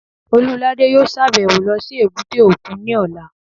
Olúladé yóò sàbẹ̀wo lọ sí èbúté òkun ní ọ̀la